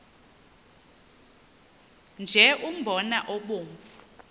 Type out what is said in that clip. nje umbona obomvu